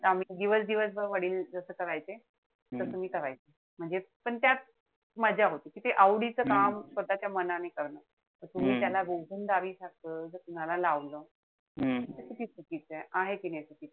त आम्ही दिवस-दिवस भर वडील जस करायचे. तस मी करायचे. म्हणजे पण त्यात मज्जा होती, ठीकेय? आवडीचं काम स्वतःच्या मनाने करणं. तुम्ही त्याला कामाला लावलं, त ते चुकीचय. आहे कि नाई चुकीचं?